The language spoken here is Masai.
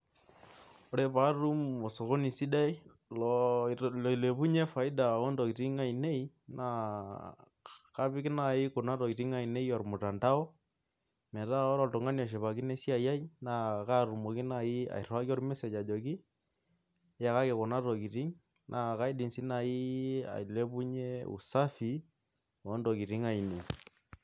Ore pee atum osokoni sidai loilepunye faida, oo ntokitin ainei, naa kapik naaji Kuna tokitin ainei olmuntao, metaa ore oltungani oshipakino, esiai ai.naa katumoki naaji airiwaki ol message ajoki iyakaki Kuna tokitin. naa kaidim sai naaji ailepunye usafi oo ntokitin ainei.